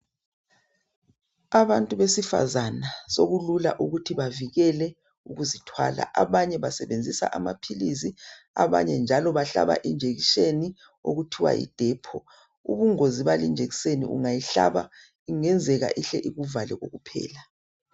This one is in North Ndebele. Abantu besifazana sokulula ukuthi bavikele ukuzithwala. Abanye basebenzisa amaphilizi ,abanye njalo bahlaba injekiseni okuthiwa Yi DEPO.Ubungozi bale injekiseni ungayihlaba ,kungenzeka ihle ikuvale kokuphela.